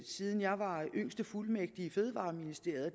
siden jeg var yngste fuldmægtig i fødevareministeriet og